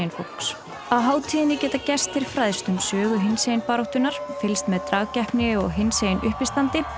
fólks á hátíðinni geta gestir fræðst um sögu hinsegin baráttunnar fylgst með dragkeppni og hinsegin uppistandi